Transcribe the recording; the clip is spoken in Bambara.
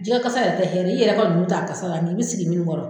Jɛgɛ kasa yɛrɛ tɛ hɛrɛ i yɛrɛ kɔni nun t'a kasa la nk'i bi sigi minnu kɔrɔ.